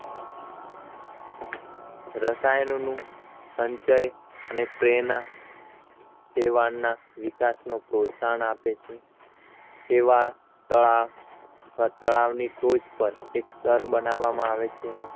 રસાયણોનું સંચય અને પ્રેરણા સેવાળના વિકાસનો પ્રોત્સાહન આપે છે સેવાળ તળાવ અથવા તળાવની ટોચ પર એક સ્તર બનાવવામાં આવે છે